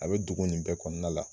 A be dogo nin bɛɛ kɔnɔna la